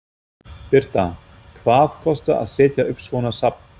Birta: Hvað kostar að setja upp svona safn?